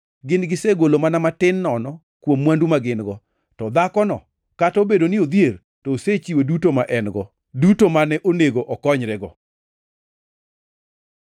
Gin gisegolo mana matin nono kuom mwandu ma gin-go, to dhakono kata obedo ni odhier, to osechiwo duto ma en-go, duto mane onego okonyrego.”